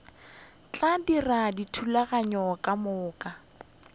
tla dira dithulaganyo ka moka